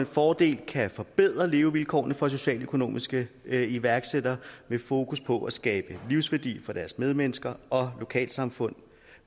fordel kan forbedre levevilkårene for socialøkonomiske iværksættere med fokus på at skabe livsværdi for deres medmennesker og lokalsamfund